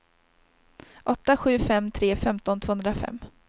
åtta sju fem tre femton tvåhundrafem